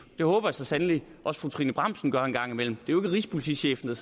det håber jeg så sandelig også fru trine bramsen gør en gang imellem det er jo ikke rigspolitichefen